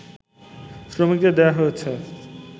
শ্রমিকদের দেয়া হয়েছে